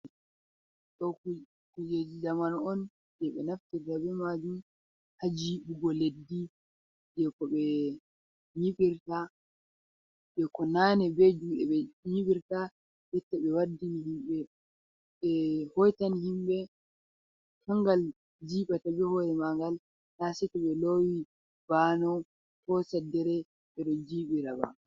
Ɗo kujeji zaman on, jei ɓe naftirta be maajun ha jiɓugo leddi, jei ko nane be juuɗe ɓe nyiɓirta jotta ɓe waddini himɓe ɓe hoitan himɓe kangal jiiɓata be hoore mangal na sei to lowi baano ko saddere ɓe ɗon jiiɓira ba.